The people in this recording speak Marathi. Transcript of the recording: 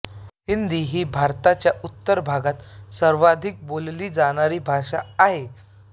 हिंदी ही भारताच्या उत्तर भागात सर्वाधिक बोलली जाणारी भाषा आहे